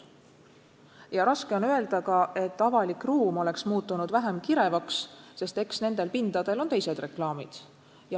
Ka on raske öelda, et avalik ruum muutus vähem kirevaks, sest eks nendel pindadel on olnud teised reklaamid.